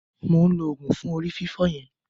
Mo ǹ lo òògùn fún orí fífọ́ yẹn.